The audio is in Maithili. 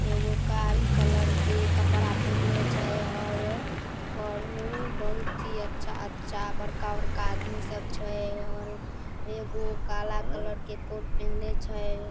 एगो कारी कलर के कपड़ा पहिनले छै और और बहुत ही अच्छा अच्छा बड़का बड़का आदमी सब छै और एगो काला कलर के कोट पहिनले छै ।